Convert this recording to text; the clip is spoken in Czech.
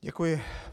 Děkuji.